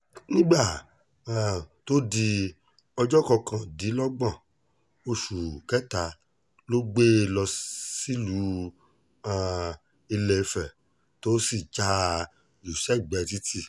nígbà um tó di ọjọ́ kọkàndínlọ́gbọ̀n oṣù kẹta ló gbé e lọ sílùú um ilẹ́fẹ̀ tó sì já a jù sẹ́gbẹ̀ẹ́ títì